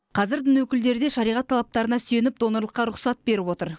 қазір дін өкілдері де шариғат талаптарына сүйеніп донорлыққа рұқсат беріп отыр